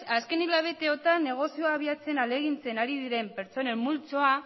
azken hilabeteotan negozioa abiatzen ahalegintzen ari diren pertsonen multzoa